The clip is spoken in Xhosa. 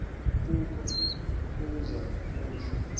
koku kuza kuhla